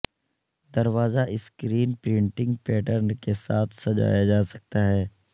دروازہ screen printing pattern کے ساتھ سجایا جا سکتا ہے